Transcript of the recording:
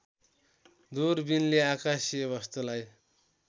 दूरबिनले आकासीय वस्तुलाई